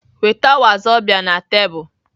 Weta wazobia na tebụl!